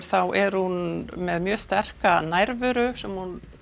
þá er hún með mjög sterka nærveru sem hún